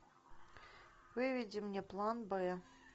выведи мне план б